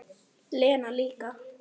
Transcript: Lena líka.